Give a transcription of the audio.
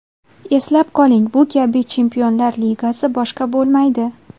Eslab qoling, bu kabi Chempionlar Ligasi boshqa bo‘lmaydi.